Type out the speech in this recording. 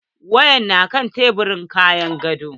Wayar tana kan tebirin gefen gado.